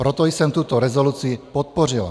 Proto jsem tuto rezoluci podpořila.